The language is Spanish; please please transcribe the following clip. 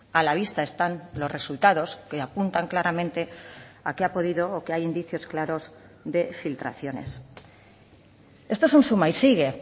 a la vista están los resultados que apuntan claramente a que ha podido o que hay indicios claros de filtraciones esto es un suma y sigue